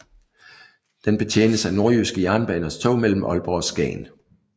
Den betjenes af Nordjyske Jernbaners tog mellem Aalborg og Skagen